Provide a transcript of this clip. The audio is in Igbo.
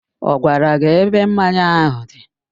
Ọ gwara gị ebe mmanya áhụ̀ dị?